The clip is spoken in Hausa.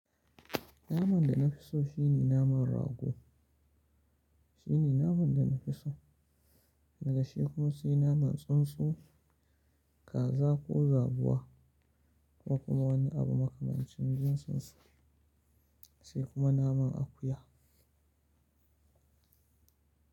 Naman da na fi so shine naman rago shine naman da na fi so. Daga shi kuma sai naman tsuntsu, kaza ko zabuwa ko kuma wani abu makamancin jin tsuntsu, sai kuma naman akuya.